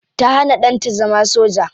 Ta hana danta zama soja.